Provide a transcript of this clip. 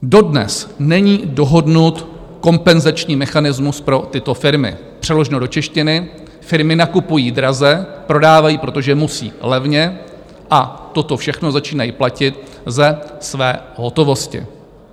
Dodnes není dohodnut kompenzační mechanismus pro tyto firmy, přeloženo do češtiny - firmy nakupují draze, prodávají, protože musí, levně a toto všechno začínají platit ze své hotovosti.